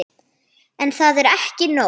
En það er ekki nóg.